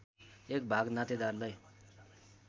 एक भाग नातेदारलाई